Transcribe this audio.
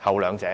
後兩者。